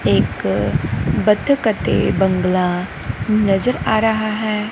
ਇਕ ਬਤਕ ਅਤੇ ਬੰਗਲਾ ਨਜ਼ਰ ਆ ਰਿਹਾ ਹੈ।